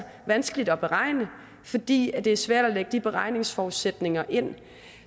vanskeligt at beregne fordi det er svært at lægge de beregningsforudsætninger ind